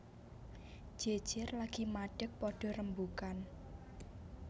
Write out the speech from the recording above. Jejer lagi madeg padha rembugan